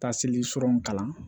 Ta selison kalan